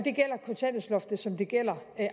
det som det gælder